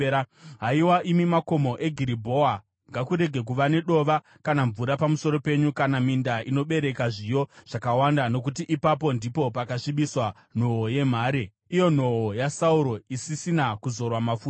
“Haiwa imi makomo eGiribhoa, ngakurege kuva nedova kana mvura pamusoro penyu, kana minda inobereka zviyo zvakawanda. Nokuti ipapo ndipo pakasvibiswa nhoo yemhare, iyo nhoo yaSauro, isisina kuzorwa mafuta.